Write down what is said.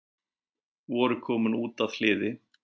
Voru komin út að hliði